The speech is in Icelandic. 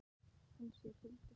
Hann sér huldufólk.